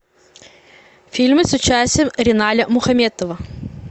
фильмы с участием риналя мухаметова